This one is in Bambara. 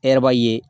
E yɛrɛ b'a ye